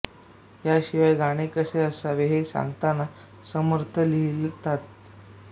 याशिवाय गाणे कसे असावे हे सांगताना समर्थ लिहितात